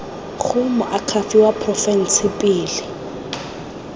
go moakhaefe wa porofense pele